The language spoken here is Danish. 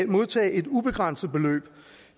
modtage et ubegrænset beløb